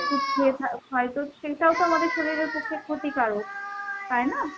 ওষুধ খেয়ে খা~ খাই তো সেটাও তো আমাদের শরীরের পক্ষে ক্ষতিকারক তাই না?